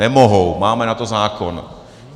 Nemohou, máme na to zákon.